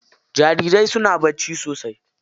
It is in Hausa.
Jarirai suna bacci sosai.